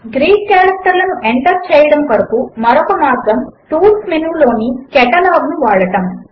Greek కారెక్టర్లను enter చేయడము కొరకు మరొక మార్గము టూల్స్ మెనూ లోని కాటలాగ్ ను వాడడము